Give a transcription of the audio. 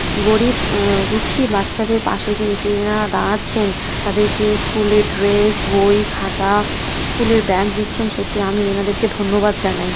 গরিব অ্যাঁ দুঃখী বাচ্চাদের পাশে যে এসে যে এনারা দাঁড়াচ্ছেন তাদেরকে স্কুল এর ড্রেস বই খাতা স্কুল এর ব্যাগ দিচ্ছেন সত্যি আমি এনাদেরকে ধন্যবাদ জানাই।